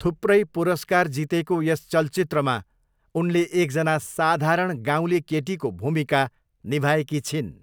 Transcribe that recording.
थुप्रै पुरस्कार जितेको यस चलचित्रमा उनले एकजना साधारण गाउँले केटीको भूमिका निभाएकी छिन्।